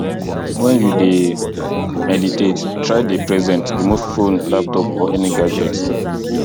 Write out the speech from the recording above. when you dey meditate try dey present remove phone laptop or any gadget